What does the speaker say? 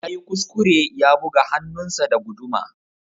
Yayi kuskure ya buga hannunsa da guduma.